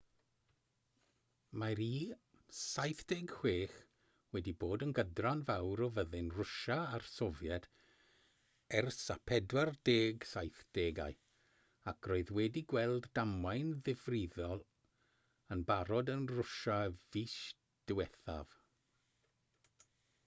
mae'r il-76 wedi bod yn gydran fawr o fyddin rwsia a'r sofiet ers y 1970au ac roedd wedi gweld damwain ddifrifol yn barod yn rwsia fis diwethaf